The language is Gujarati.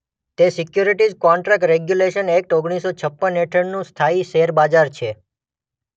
તે સિક્યુરિટિઝ કોન્ટ્રાક્ટ રેગ્યુલેશન એક્ટ ઓગણીસ્ સો છપ્પન હેઠળનું સ્થાયી શેર બજાર છે.